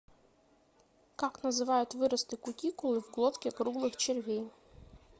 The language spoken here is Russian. как называют выросты кутикулы в глотке круглых червей